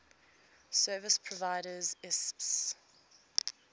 service providers isps